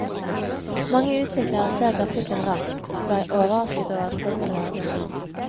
Mange utviklere ser grafikken raskt og er overrasket over at folk klager.